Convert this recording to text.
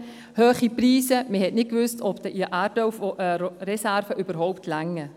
Die Preise waren hoch, und man wusste nicht, ob die Erdölreserven überhaupt ausreichen.